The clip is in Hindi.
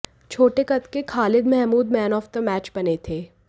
छोटे कद के Khalid Mahmud man of the match बने थे